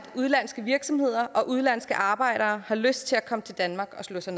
udenlandske virksomheder og udenlandske arbejdere har lyst til at komme til danmark og slå sig